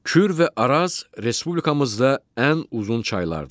Kür və Araz Respublikamızda ən uzun çaylardır.